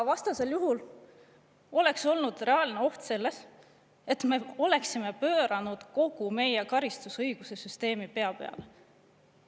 Vastasel juhul oleks olnud reaalne oht selles, et me oleksime pööranud kogu meie karistusõiguse süsteemi pea peale.